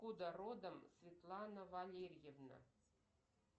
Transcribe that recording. откуда родом светлана валерьевна